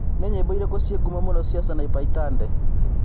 nĩ nyĩmbo ĩrikũ cie ngũmo mũno cia Sanapei Tande